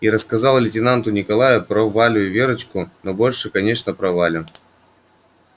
и рассказал лейтенанту николаю про валю и верочку но больше конечно про валю